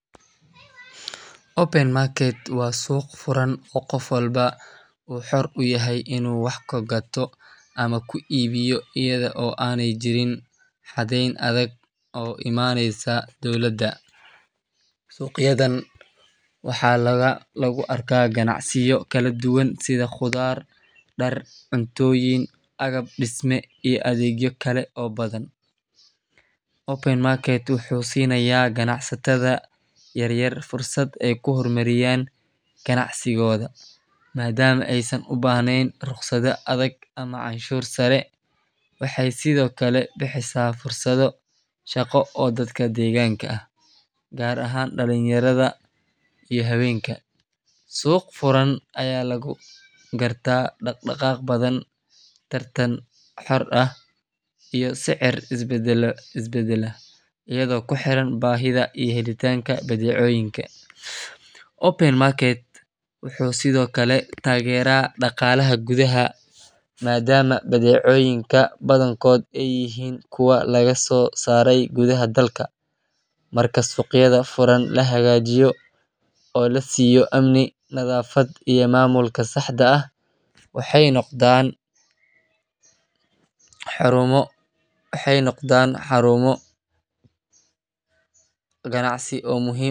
open market waa suuq furan oo qof walba uu xor u yahay in uu wax ku gato ama ku iibiyo iyada oo aanay jirin xadeyn adag oo ka imaaneysa dowladda. Suuqyadan waxaa lagu arkaa ganacsiyo kala duwan sida khudaar, dhar, cuntooyin, agab dhisme iyo adeegyo kale oo badan. Open market wuxuu siinayaa ganacsatada yaryar fursad ay ku horumariyaan ganacsigooda, maadaama aysan u baahnayn rukhsado adag ama canshuur sare. Waxay sidoo kale bixisaa fursado shaqo oo dadka deegaanka ah, gaar ahaan dhalinyarada iyo haweenka. Suuq furan ayaa lagu gartaa dhaqdhaqaaq badan, tartan xor ah, iyo sicir isbedbedela iyadoo ku xiran baahida iyo helitaanka badeecooyinka. Open market wuxuu sidoo kale taageeraa dhaqaalaha gudaha maadaama badeecooyinka badankood ay yihiin kuwo laga soo saaray gudaha dalka. Marka suuqyada furan la hagaajiyo oo la siiyo amni, nadaafad iyo maamulka saxda ah, waxay noqdaan xarumo ganacsi oo muhiim.